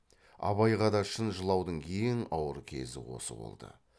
абайға да шын жылаудың ең ауыр кезі осы болды